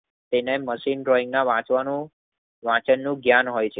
તેને નસિંગ દેન માં વાંચવાનું વચનનું ધ્યાન હોય છે.